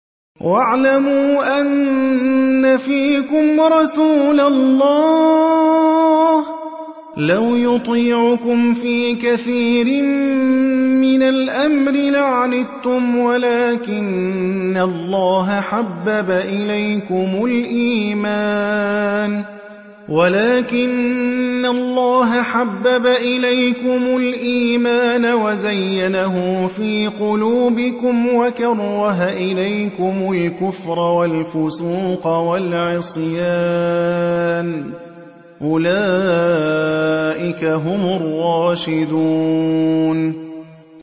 وَاعْلَمُوا أَنَّ فِيكُمْ رَسُولَ اللَّهِ ۚ لَوْ يُطِيعُكُمْ فِي كَثِيرٍ مِّنَ الْأَمْرِ لَعَنِتُّمْ وَلَٰكِنَّ اللَّهَ حَبَّبَ إِلَيْكُمُ الْإِيمَانَ وَزَيَّنَهُ فِي قُلُوبِكُمْ وَكَرَّهَ إِلَيْكُمُ الْكُفْرَ وَالْفُسُوقَ وَالْعِصْيَانَ ۚ أُولَٰئِكَ هُمُ الرَّاشِدُونَ